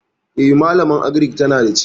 E, malaman agirik tana da ciki.